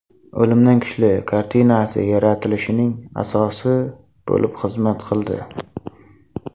O‘limdan kuchli” kartinasi yaratilishining asosi bo‘lib xizmat qildi.